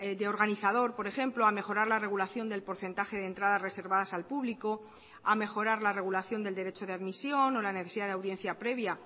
de organizador por ejemplo a mejorar la regulación del porcentaje de entradas reservadas al público a mejorar la regulación del derecho de admisión o la necesidad de audiencia previa